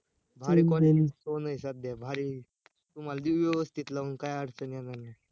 भारी quality चा phone आहे सध्या, भारी! तुम्हाला देऊ व्यवस्तीत लावून, काही अडचण येणार नाही